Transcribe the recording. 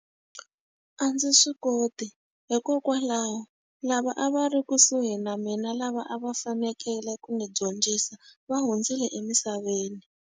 A ndzi swi koti hikokwalaho, lava a va ri kusuhi na mina lava a va fanekele ku ndzi dyondzisa, va hundzile emisaveni.